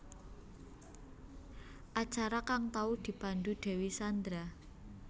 Acara kang tau dipandhu Dewi Sandra